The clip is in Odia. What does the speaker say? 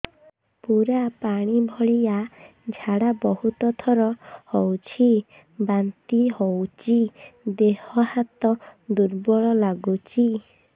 ପୁରା ପାଣି ଭଳିଆ ଝାଡା ବହୁତ ଥର ହଉଛି ବାନ୍ତି ହଉଚି ଦେହ ହାତ ଦୁର୍ବଳ ଲାଗୁଚି